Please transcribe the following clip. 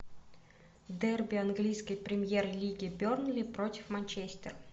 дерби английской премьер лиги бернли против манчестер